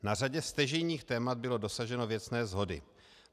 Na řadě stěžejních témat bylo dosaženo věcné shody.